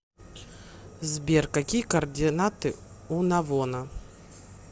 сбер какие координаты у навона